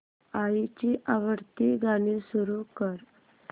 आईची आवडती गाणी सुरू कर